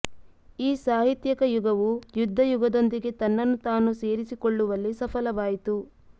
ಈ ಸಾಹಿತ್ಯಕ ಯುಗವು ಯುದ್ದ ಯುಗದೊಂದಿಗೆ ತನ್ನನ್ನು ತಾನು ಸೇರಿಸಿಕೊಳ್ಳುವಲ್ಲಿ ಸಫಲವಾಯಿತು